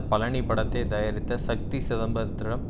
பழனி படத்தை தயாரித்த ஷக்தி சிதம்பரத்திடம்